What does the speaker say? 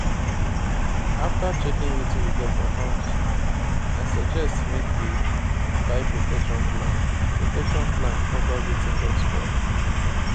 after checking wetin we get for house i suggest make we buy protection plan protection plan cover wetin don spoil